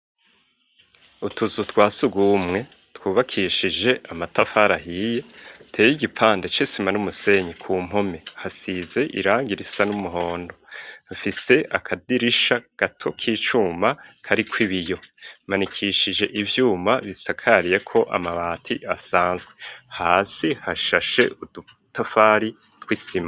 Utuzu twasugumwe twubakishije amatafari ahiye hateye igipande c'isima n'umusenyi ku mpome hasize irangi risa n'umuhondo, rifise akadirisha gato k'icuma kariko ibiyo kamanikishije ivyuma bisakariyeko amabati asanzwe hasi hashashe udutafari tw'isima.